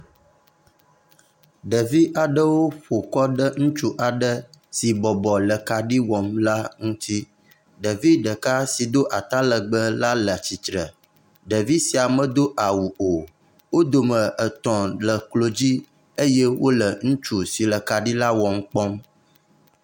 Ɖevi aɖewo ƒo kɔ ɖe ŋutsu aɖe si bɔbɔ le kaɖi wɔm la ŋuti. Ɖevi ɖeka si do atalegbe la le atsitre. Ɖevi sia medo awu o. Wo dome etɔ̃ le eklo dzi eye wole ŋutsu si le kaɖi la wɔm kpɔm.